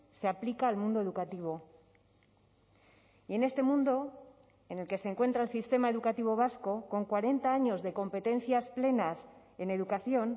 se aplica al mundo educativo y en este mundo en el que se encuentra el sistema educativo vasco con cuarenta años de competencias plenas en educación